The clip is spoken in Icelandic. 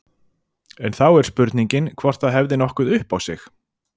En þá er spurningin hvort það hefði nokkuð upp á sig.